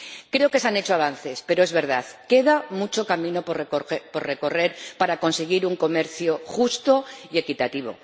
Creo que se han hecho avances pero, es verdad, queda mucho camino por recorrer para conseguir un comercio justo y equitativo.